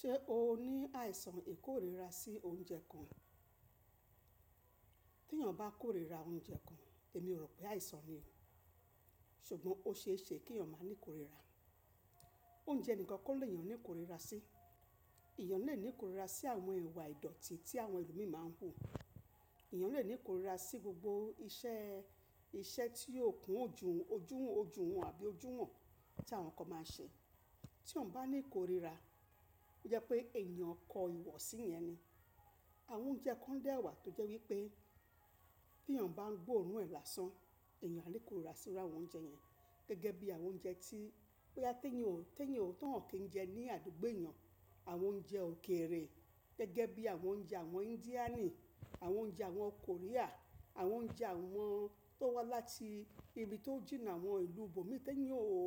Ṣé o ní àìsàn ìkóríra sí oúnjẹ kan? Tí èèyàn bá kóríra oúnjẹ kan, èmi ò rò pé àìsàn ni, ṣùgbọ́n ó ṣe é ṣe kí èèyàn má ní kóríra. Oúnjẹ nikan kọ lè yàn ní kóríra sí. Ẹ̀yàn lè ní kóríra sí àwọn ìwà ìdọ̀tí tí àwọn ẹlòmíì máa ń hù. Ẹ̀yàn lè ní kóríra sí gbogbo iṣẹ́, iṣẹ́ tí yóò kún ojú, ojúun, ojú hun àbí ojú hàn tí àwọn kan máa ń ṣe. Tí èèyàn bá ní kóríra, ó jẹ́ pé èèyàn kọ ìwọ̀sí yẹn ni. Àwọn oúnjẹ kan dẹ wà tó jẹ́ wípé tí èèyàn bá ń gbóòórùn ẹ̀ làásán, èèyàn á ní kóríra sí iru àwọn oúnjẹ yẹn. Gẹ́gẹ́ bí àwọn oúnjẹ tí pé a tẹ́nyàn, tẹ́nyàn ò tàn án kí ń jẹ ní àdúgbò èèyàn. Àwọn oúnjẹ òkèrè gẹ́gẹ́ bí àwọn oúnjẹ àwọn Índíànì, àwọn oúnjẹ àwọn Korea, àwọn oúnjẹ àwọn tó wá láti ibi tó jìnnà àwọn ìlú bòmíì tí èèyàn ò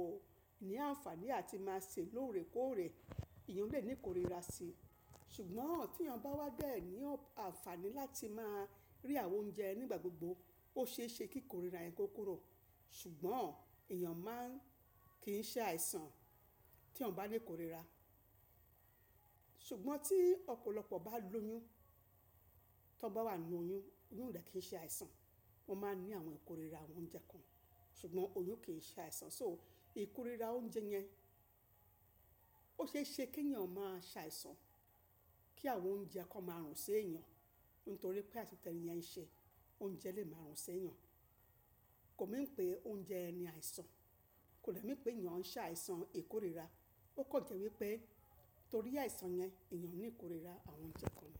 ní àǹfàní àti máa ṣe lóore kóòrè, èèyàn lè ní kóríra sí i. Ṣùgbọ́n tí èèyàn bá wá bẹ́ẹ̀ ní àǹfàní láti máa rí àwọn oúnjẹ nígbà gbogbo, ó ṣe é ṣe kí kóríra yẹn kó kúrò. Ṣùgbọ́n èèyàn máa ń kì í ṣàìsàn tí yan bá ní kóríra. Ṣùgbọ́n tí ọ̀pọ̀lọpọ̀ bá lóyún, tí wọ́n bá wà nínú oyún, oyún o dẹ kí ń ṣe àìsàn. Wọ́n máa ní àwọn ìkóríra àwọn oúnjẹ kan, ṣùgbọ́n oyún kì í ṣe àìsàn. So ìkóríra oúnjẹ yẹn ó ṣe é ṣe kí èèyàn máa ṣàìsàn kí àwọn oúnjẹ kan máa rùn sí èèyàn nítorí pé àsọtẹ́ni yẹn ṣẹ oúnjẹ lè máa rùn sí èèyàn. Kò mín pé oúnjẹ ẹni àìsàn, kò dẹ́mín pé èèyàn ń ṣàìsàn ìkóríra. Ó kàn jẹ́ wípé torí àìsàn yẹn èèyàn ní kóríra àwọn oúnjẹ kan.